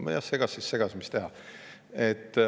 Kui segas, siis segas, mis teha.